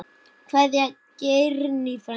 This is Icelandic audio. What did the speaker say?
Kveðja, Geirný frænka.